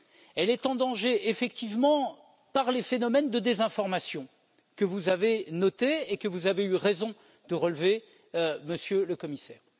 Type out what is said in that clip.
Elle est en danger, effectivement, à cause des phénomènes de désinformation que vous avez notés et que vous avez eu raison de relever, Monsieur le Commissaire.